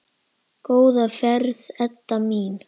Góða ferð, Edda mín.